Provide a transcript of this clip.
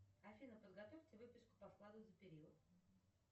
афина подготовьте выписку по вкладу за период